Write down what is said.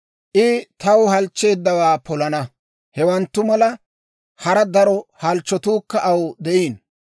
I taw halchcheeddawaa polana; hewanttu mala, hara daro halchchotuukka aw de'iino.